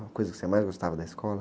Uma coisa que você mais gostava da escola?